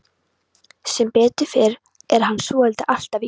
Sem betur fer er hann svotil alltaf í vinnunni.